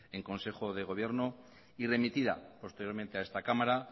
en consejo de gobierno y remitida posteriormente a esta cámara